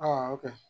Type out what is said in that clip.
Aa o kɛ